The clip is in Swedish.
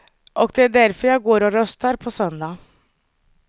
Och det är därför jag går och röstar på söndag.